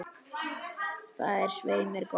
Það er svei mér gott.